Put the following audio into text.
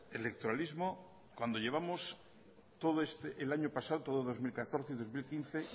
electoralismo cuando llevamos todo el año pasado todo dos mil catorce y dos mil quince